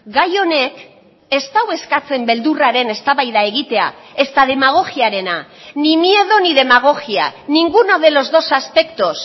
gai honek ez du eskatzen beldurraren eztabaida egitea ezta demagogiarena ni miedo ni demagogia ninguno de los dos aspectos